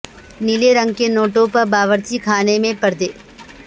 نیلے رنگ کے ٹونوں پر باورچی خانے میں پردے